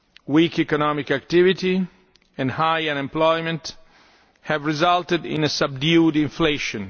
Weak economic activity and high unemployment have resulted in subdued inflation.